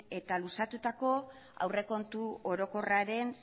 eta luzatutako aurrekontu orokorraren